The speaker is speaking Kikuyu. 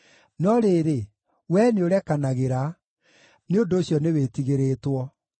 No rĩrĩ, Wee nĩũrekanagĩra; nĩ ũndũ ũcio nĩwĩtigĩrĩtwo.